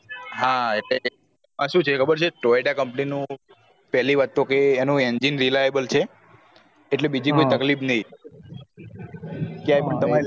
હા એ શું છે ખબર છે toyota company નું પેલી વાત તો એ એનું engine reliable છે એટલે બીજી કોઈ તકલીફ નહિ ક્યાંય પણ તમારે